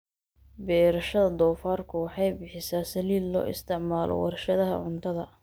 Beerashada doofaarku waxay bixisaa saliid loo isticmaalo warshadaha cuntada.